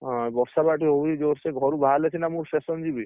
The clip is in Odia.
ହଁ, ବର୍ଷା ବ ଏଠି ହଉଛି ଜୋରସେ, ଘରୁ ବାହାରିଲେ ସିନା ମୁଁ station ଯିବି।